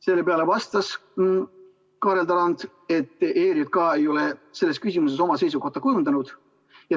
Selle peale vastas Kaarel Tarand, et ERJK ei ole selles küsimuses oma seisukohta kujundanud.